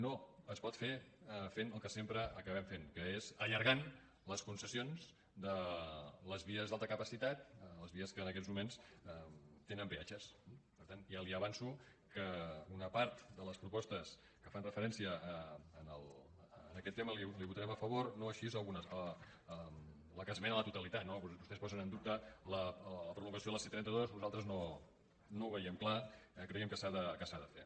no es pot fer fent el que sempre acabem fent que és allargant les concessions de les vies d’alta capacitat les vies que en aquests moments tenen peatges eh per tant ja li avanço que una part de les propostes que fan referència a aquest tema les hi votarem a favor no així algunes la de esmena la totalitat no vostès posen en dubte la prolongació de la c trenta dos nosaltres no ho veiem clar creiem que s’ha de fer